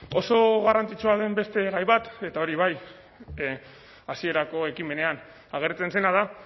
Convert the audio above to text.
oso garrantzitsua den beste gai bat eta hori bai hasierako ekimenean agertzen zena da